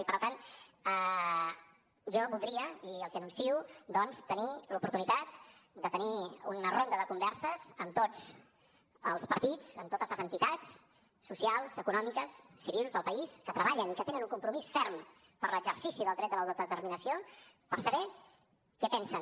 i per tant jo voldria i els ho anuncio doncs tenir l’oportunitat de tenir una ronda de converses amb tots els partits amb totes les entitats socials econòmiques civils del país que treballen i que tenen un compromís ferm per l’exercici del dret a l’autodeterminació per saber què pensen